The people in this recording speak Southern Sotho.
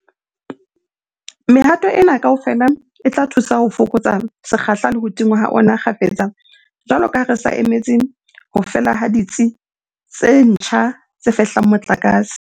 Mehato ena kaofela e tla thusa ho fokotsa sekgahla le ho tingwa ha ona kgafetsa jwalo ka ha re sa emetse ho fela ha ditsi tse ntjha tse fehlang motlakase.